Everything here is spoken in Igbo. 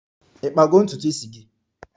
Ị kpago ntutu isi gị?